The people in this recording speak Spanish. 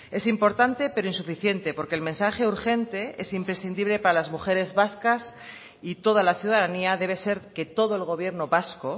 es importante pero insuficiente porque el mensaje urgente es imprescindible para las mujeres vascas y toda la ciudadanía debe ser que todo el gobierno vasco